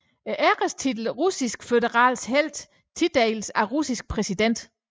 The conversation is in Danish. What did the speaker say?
Ærestitlen Russiske Føderations Helt tildeles af Ruslands præsident